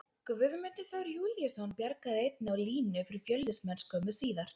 Guðmundur Þór Júlíusson bjargaði einnig á línu fyrir Fjölnismenn skömmu síðar.